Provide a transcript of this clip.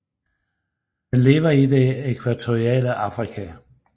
Den lever i det ækvatoriale Afrika